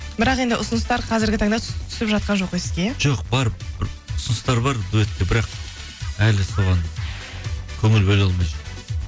бірақ енді ұсыныстар қазіргі таңда түсіп жатқан жоқ қой сізге иә жоқ бар ұсыныстар бар дуэтке бірақ әлі соған көңіл бөле алмай жүрмін